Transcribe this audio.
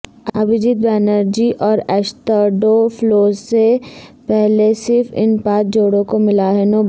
ابھیجیت بنرجی اورایشترڈوفلو سے پہلے صرف ان پانچ جوڑوں کو ملا ہے نوبل